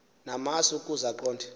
namasi ukaze aqonde